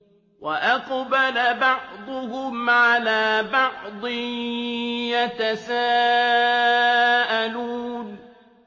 وَأَقْبَلَ بَعْضُهُمْ عَلَىٰ بَعْضٍ يَتَسَاءَلُونَ